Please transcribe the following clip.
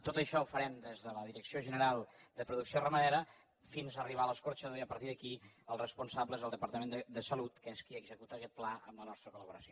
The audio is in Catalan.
tot això ho farem des de la direcció general de producció ramadera fins a arribar a l’escorxador i a partir d’aquí el responsable és el departament de salut que és qui executa aquest pla amb la nostra col·laboració